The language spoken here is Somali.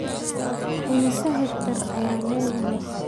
Imisa hektar ayaad leedahay?